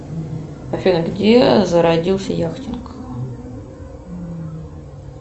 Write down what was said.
афина где зародился яхтинг